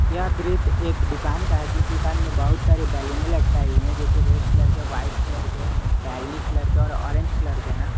यह दृश्य एक दुकान का है जिस दुकान में बहुत सारी बैलूने लटकाई हुई हैं जो कि रेड कलर के व्हाइट कलर के बैगनी कलर के और ऑरेंज कलर के हैं।